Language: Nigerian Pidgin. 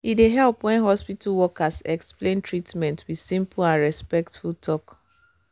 e dey help when hospital workers explain treatment with simple and respectful talk.